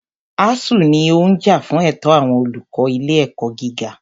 ASUU ní ó ń jà fún ẹ̀tọ́ àwọn olùkọ́ ilé ẹ̀kọ́ gíga.